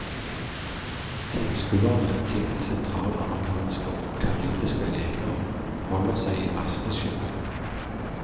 Tilskuerne til de sentralamerikanske og karibiske leker holder seg i masteskyggen.